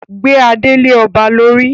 Gbé adé lé ọba lórí!